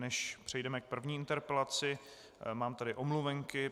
Než přejdeme k první interpelaci, mám tady omluvenky.